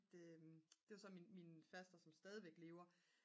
det var så min faster som stadigvæk lever